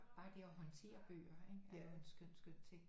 Bare det at håndtere bøger ikke er jo en skøn skøn ting